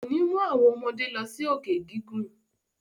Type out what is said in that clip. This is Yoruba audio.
Kò ní mú àwọn ọmọdé lọ sí òkè gígùn.